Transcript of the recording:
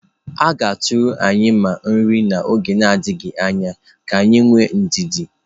A ga-atụrụ anyị mmiri n'oge adịghị anya, ka anyị nwee ndidi.